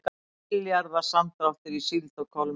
Milljarða samdráttur í síld og kolmunna